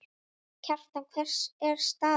Kjartan, hver er staðan?